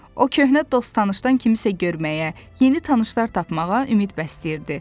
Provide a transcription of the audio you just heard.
O köhnə dost-tanışdan kimisə görməyə, yeni tanışlar tapmağa ümid bəsləyirdi.